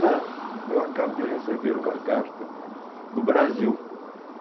Mas eu acabo de receber uma carta do Brasil.